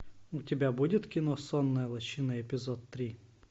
у тебя будет кино сонная лощина эпизод три